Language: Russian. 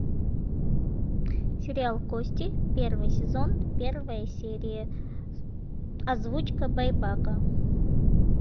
сериал кости первый сезон первая серия озвучка байбака